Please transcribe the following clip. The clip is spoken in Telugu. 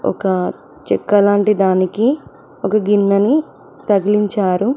ఒక చెక్క లాంటి దానికి ఒక గిన్నెని తగిలించారు.